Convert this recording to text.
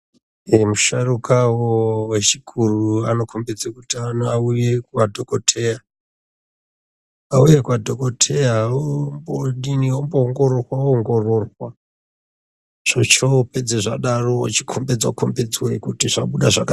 Musharukwa wechikuru anokombidza kuti madhokodheya ombodini omboongororwa ochopedza zvakadaro ochokombedzwa kombedzwabzvabuda zvakadini.